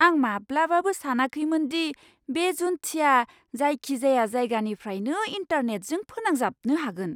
आं माब्लाबाबो सानाखैमोन दि बे जुन्थिआ जायखिजाया जायगानिफ्रायनो इन्टारनेटजों फोनांजाबनो हागोन!